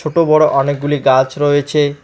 ছোট বড়ো অনেকগুলি গাছ রয়েছে।